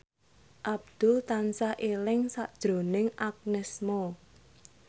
Abdul tansah eling sakjroning Agnes Mo